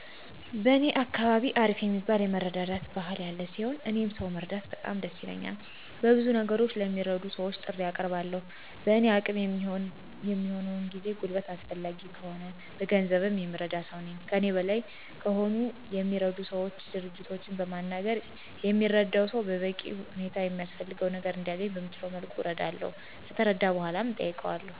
በእኛ አካባቢ አሪፍ የሚባል የመረዳዳት ባህል ያለ ሲሆን፤ እኔም ሰው መርዳት በጣም ደስ ይለኛል። በብዙ ነገሮች ለሚረዱ ሰወች ጥሪ አቀርባለሁ። በእኔ አቅም የሚሆነውን ጊዜ፣ ጉልበት አስፈላጊ ከሆነ በገንዘብ የምረዳ ሰው ነኝ። ከእኔ በላይ ከሆነ የሚረዱ ሰወች፣ ድርጅቶችን በሚናገር የሚረዳው ሰው በበቂ ሁኔታ የሚያስፈልገው ነገር እንዲያነኝ በምችለው መልኩ አረዳለሁ። ከተረዳ በኃላ እጠይቀዋለሁ።